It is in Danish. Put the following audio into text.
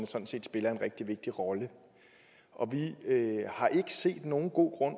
sådan set spiller en rigtig vigtig rolle og vi har ikke set nogen god grund